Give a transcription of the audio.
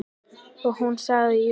Og hún sagði jú.